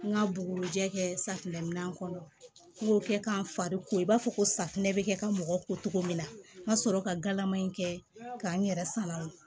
N ka bugu jɛ kɛ safinɛminan kɔnɔ n y'o kɛ k'a fari ko i b'a fɔ ko safunɛ bɛ kɛ ka mɔgɔ ko cogo min na n ka sɔrɔ ka galama in kɛ k'a n yɛrɛ salati